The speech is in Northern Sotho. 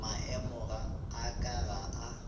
maemo a ka ga a